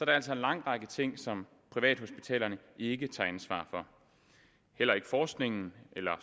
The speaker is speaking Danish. er altså en lang række ting som privathospitalerne ikke tager ansvar for heller ikke forskning eller